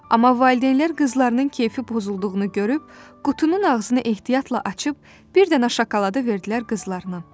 Amma valideynlər qızlarının keyfi pozulduğunu görüb qutunun ağzını ehtiyatla açıb bir dənə şokoladı verdilər qızlarına.